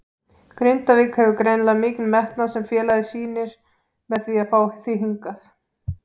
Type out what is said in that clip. Grindavík hefur greinilega mikinn metnað sem félagið sýnir með því að fá þig hingað?